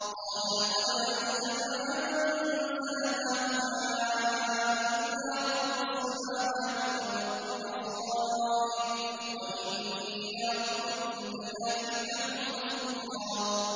قَالَ لَقَدْ عَلِمْتَ مَا أَنزَلَ هَٰؤُلَاءِ إِلَّا رَبُّ السَّمَاوَاتِ وَالْأَرْضِ بَصَائِرَ وَإِنِّي لَأَظُنُّكَ يَا فِرْعَوْنُ مَثْبُورًا